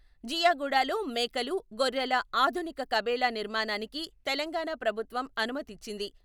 జియాగూడలో మేకలు, గొర్రెల ఆధునిక కబేళా నిర్మాణానికి తెలంగాణ ప్రభుత్వం అనుమతిచ్చింది.